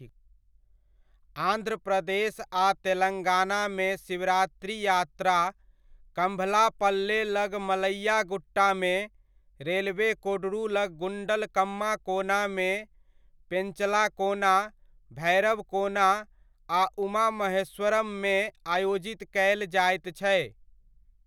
आंध्र प्रदेश आ तेलङ्गाना मे शिवरात्रि यात्रा, कम्भलापल्ले लग मल्लैया गुट्टामे, रेलवे कोडूरू लग गुण्डलकम्मा कोनामे, पेन्चलाकोना, भैरवकोना आ उमा महेश्वरम मे आयोजित कयल जायत छै।